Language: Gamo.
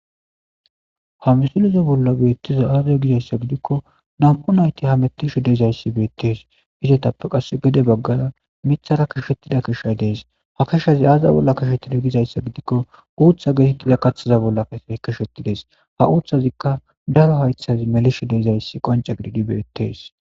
Ha misileza bollan betizays aze gidaysa gidiko na'mu nayiti hametishe dizayis betes itatape qasi gede bagara mithara qashetidayis kesha de'es ha keshazi ayibas gidayisa gidiko utha gizayisa kathaza bollan qashetizayis ha uthaziika daro hayithazi melizayis qonice gididayis betes